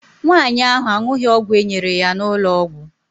Nwaanyị ahụ aṅụghị ọgwụ e nyere ya n'ụlọ ọgwụ.